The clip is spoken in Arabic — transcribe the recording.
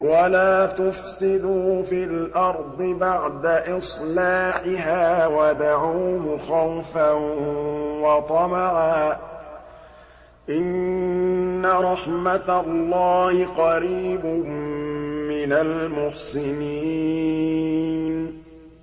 وَلَا تُفْسِدُوا فِي الْأَرْضِ بَعْدَ إِصْلَاحِهَا وَادْعُوهُ خَوْفًا وَطَمَعًا ۚ إِنَّ رَحْمَتَ اللَّهِ قَرِيبٌ مِّنَ الْمُحْسِنِينَ